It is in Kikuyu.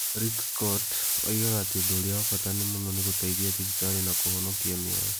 Rick Scott, oigaga atĩ ũndũ ũrĩa wa bata mũno nĩ gũteithia thibitarĩ na kũhonokia mĩoyo.